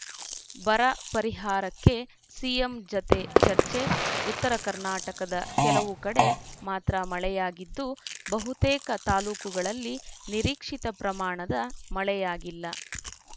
ಬರ ಪರಿಹಾರಕ್ಕೆ ಸಿಎಂ ಜತೆ ಚರ್ಚೆ ಉತ್ತರ ಕರ್ನಾಟಕದ ಕೆಲವು ಕಡೆ ಮಾತ್ರ ಮಳೆಯಾಗಿದ್ದು ಬಹುತೇಕ ತಾಲೂಕುಗಳಲ್ಲಿ ನಿರೀಕ್ಷಿತ ಪ್ರಮಾಣದ ಮಳೆಯಾಗಿಲ್ಲ